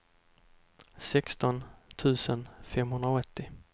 sexton tusen femhundraåttio